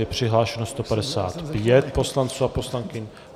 Je přihlášeno 155 poslanců a poslankyň.